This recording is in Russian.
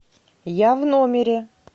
я в номере